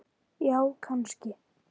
Já, kannski